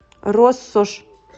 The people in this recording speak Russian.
россошь